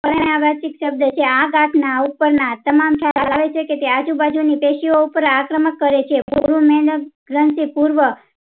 પરિણાવચિક શબ્દ છે આ ગાંઠ ના ઉપ્પર ના તમામ ખ્યાલ આવે છે કે તે આજુબાજુ ની પેશી ઓ ઉપ્પર આક્રમણ કરે છે ગ્રાંથિપુર્ણ